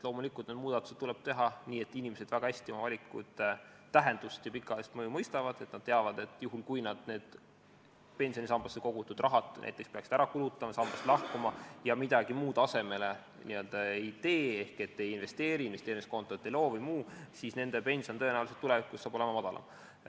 Loomulikult, need muudatused tuleb teha nii, et inimesed väga hästi oma valikute tähendust ja pikaajalist mõju mõistaksid, et nad teaksid, et kui nad pensionisambasse kogutud raha peaksid ära kulutama, sambast lahkuma ja midagi muud asemele ei teeks ehk ei investeeriks, investeerimiskontot ei looks ega teeks muud, siis nende pension oleks tulevikus tõenäoliselt madalam.